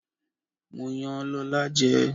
Mo yan Lọ́la jẹ.